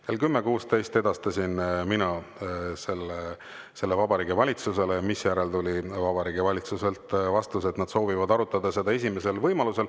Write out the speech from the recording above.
Kell 10.16 edastasin mina selle Vabariigi Valitsusele, misjärel tuli Vabariigi Valitsuselt vastus, et nad soovivad arutada seda esimesel võimalusel.